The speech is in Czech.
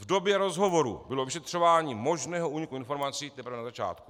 V době rozhovoru bylo vyšetřování možného úniku informací teprve na začátku.